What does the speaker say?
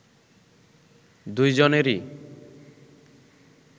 দুই জনেরই